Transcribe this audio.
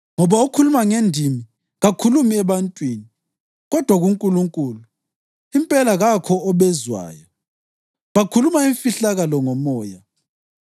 Ngoba okhuluma ngendimi kakhulumi ebantwini kodwa kuNkulunkulu. Impela kakho obezwayo, bakhuluma imfihlakalo ngoMoya.